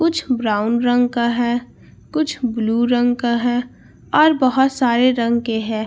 कुछ ब्राउन रंग का है कुछ ब्लू रंग है और बोहोत सारे रंग के है।